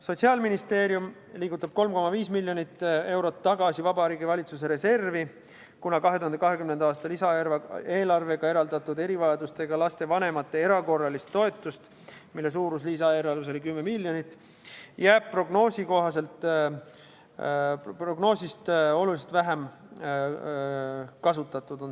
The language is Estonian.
Sotsiaalministeerium liigutab 3,5 miljonit eurot tagasi Vabariigi Valitsuse reservi, kuna 2020. aasta lisaeelarvega eraldatud erivajadustega laste vanemate erakorralist toetust, mille suurus lisaeelarves oli 10 miljonit, on prognoositust oluliselt vähem kasutatud.